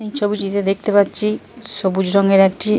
এই ছবিটিতে দেখতে পাচ্ছি সবুজ রঙের একটি --